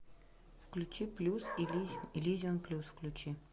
включи плюс иллюзион плюс включи